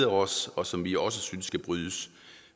os og som vi også synes skal brydes